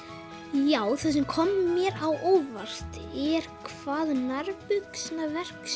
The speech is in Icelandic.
já það sem kom mér á óvart er hvað nærbuxnaverksmiðjan